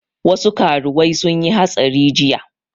Wasu karuwai sun yi hatsari jiya